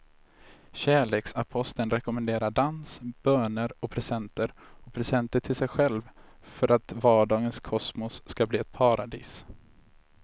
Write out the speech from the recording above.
Kärleksaposteln rekommenderar dans, böner och presenter och presenter till sig själv för att vardagens kosmos ska bli ett paradis.